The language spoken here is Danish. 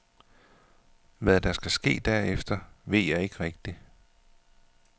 Hvad der skal ske derefter, ved jeg ikke rigtig.